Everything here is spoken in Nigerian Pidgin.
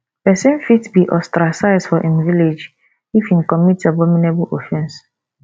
pesin fit be ostracize for im village if im commit abominable offense